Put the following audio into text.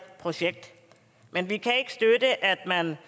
projekt men vi kan ikke støtte at man